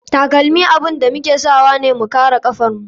Takalmi abun da muke sawane mu kare kafan mu.